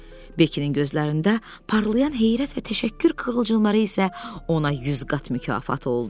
Bekinin gözlərində parlayan heyrət və təşəkkür qığılcımları isə ona yüz qat mükafat oldu.